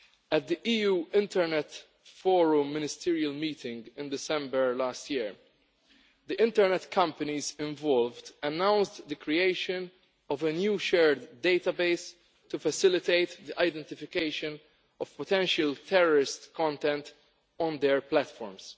At the EU Internet Forum Ministerial meeting in December last year, the internet companies involved announced the creation of a new shared database to facilitate identification of potential terrorist content on their platforms.